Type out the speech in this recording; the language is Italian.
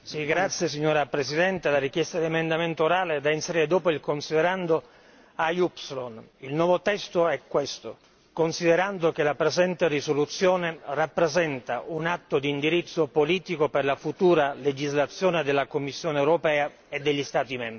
Signora Presidente, presento il seguente emendamento orale, da inserire dopo il considerando AY. Il nuovo testo è questo considerando che la presente risoluzione rappresenta un atto di indirizzo politico per la futura legislazione della Commissione europea e degli Stati membri